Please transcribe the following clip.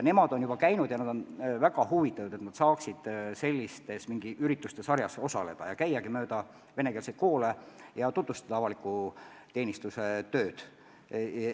Nemad on juba rääkimas käinud ja nad on väga huvitatud, et nad saaksid sellises üritustesarjas osaleda ja käia mööda venekeelseid koole ja tutvustada avaliku teenistuse tööd.